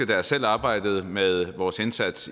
da jeg selv arbejdede med vores indsats